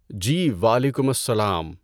جی وعلیکم السّلام